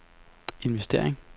investering